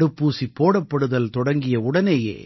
தடுப்பூசி போடப்படுதல் தொடங்கிய உடனேயே